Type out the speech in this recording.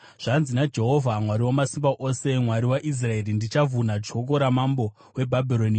“Zvanzi naJehovha Mwari Wamasimba Ose, Mwari waIsraeri, ‘Ndichavhuna joko ramambo weBhabhironi.